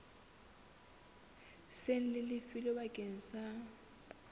seng le lefilwe bakeng sa